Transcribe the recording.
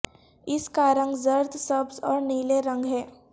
اس کا رنگ زرد سبز اور نیلے رنگ ہے